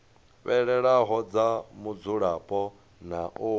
fhelelaho dza mudzulapo na u